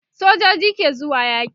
sojoji ke zuwa yaki